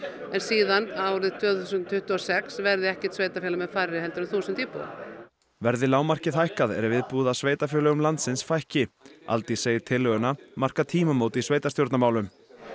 en síðan árið tvö þúsund tuttugu og sex verði ekkert sveitarfélag með færri en þúsund íbúa verði lágmarkið hækkað er viðbúið að sveitarfélögum landsins fækki Aldís segir tillöguna marka tímamót í sveitarstjórnarmálum